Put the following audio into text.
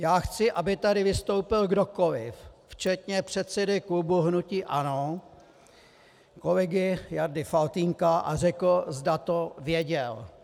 Já chci, aby tady vystoupil kdokoliv, včetně předsedy klubu hnutí ANO kolegy Jardy Faltýnka, a řekl, zda to věděl.